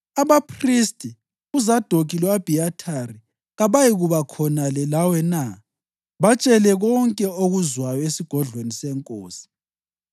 Abaphristi uZadokhi lo-Abhiyathari kabayikuba khonale lawe na? Batshele konke okuzwayo esigodlweni senkosi.